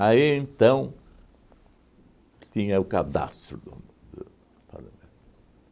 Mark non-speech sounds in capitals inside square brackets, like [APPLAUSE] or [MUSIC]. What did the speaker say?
Aí, então, tinha o cadastro do [UNINTELLIGIBLE]